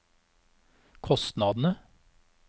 kostnadene